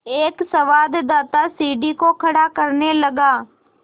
एक संवाददाता सीढ़ी को खड़ा करने लगा